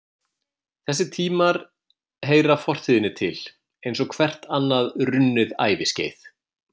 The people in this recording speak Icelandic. Þessir tímar heyra fortíðinni til eins og hvert annað runnið æviskeið.